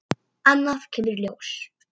Annað kemur ljós